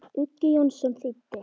Uggi Jónsson þýddi.